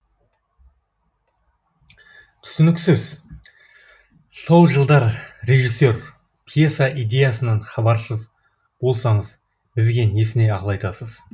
түсініксіз сол жылдар режиссер пьеса идеясынан хабарсыз болсаңыз бізге несіне ақыл айтасыз